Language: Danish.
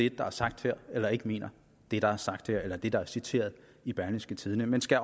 det der er sagt her eller ikke mener det der er sagt her eller rettere det der er citeret i berlingske tidende men skal